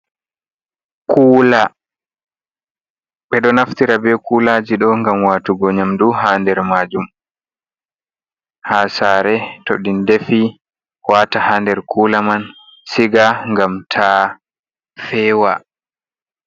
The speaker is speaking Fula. Kula ɓeɗo naftira be kulaji ɗo ngam watugo nyamdu ha nder majum ha sare tow ɓe defi wata ha nder kula man siga ngam ta fewa.